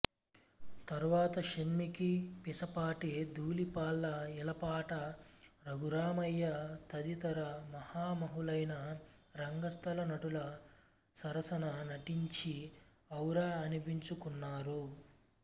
తరువాత షణ్మిఖి పీసపాటి ధూళిపాళ్ళ ఈలపాట రఘురామయ్య తదితర మహామహులైన రంగస్థల నటుల సరసన నటించి ఔరా అనిపించుకున్నారు